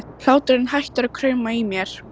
Hláturinn hættir að krauma í mér.